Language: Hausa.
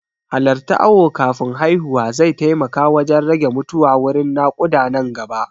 Halarta awo kafin haihuwa zai taimaka wajan rage mutuwa wurin naƙuda nan gaba